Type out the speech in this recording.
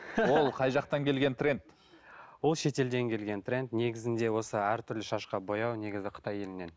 ол қай жақтан келген тренд ол шетелден келген тренд негізінде осы әртүрлі шашқа бояу негізі қытай елінен